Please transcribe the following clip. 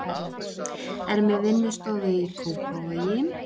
Er með vinnustofu í Kópavogi.